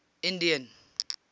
indian